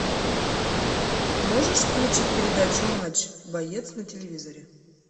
можешь включить передачу матч боец на телевизоре